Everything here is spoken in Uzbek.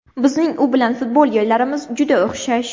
Bizning u bilan futbol yo‘llarimiz juda o‘xshash.